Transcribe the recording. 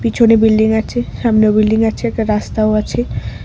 পিছনে বিল্ডিং আছে সামনেও বিল্ডিং আছে একটা রাস্তাও আছে ।